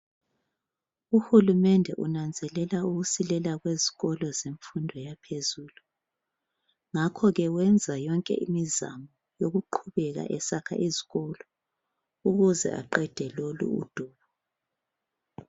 Uhulumende unanzelela ukusilela kwezikolo zemfundo yaphezulu ngakho ke wenza yonke imizamo yokuqhubeka esakha izikolo ukuze aqede lolu udubo.